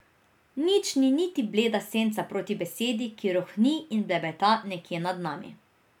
Nič ni niti bleda senca proti besedi, ki rohni in blebeta nekje nad nami.